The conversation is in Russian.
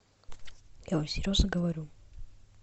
я вам серьезно говорю